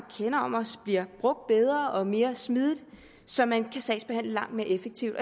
har om os bliver brugt bedre og mere smidigt så man kan sagsbehandle langt mere effektivt